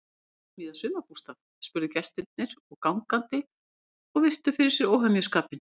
Ertu að smíða sumarbústað? spurðu gestir og gangandi og virtu fyrir sér óhemjuskapinn.